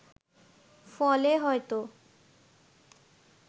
ফলে হয়ত